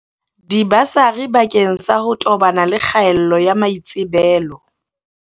Dibasari bakeng sa ho tobana le kgaello ya maitsebelo